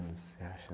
você acha?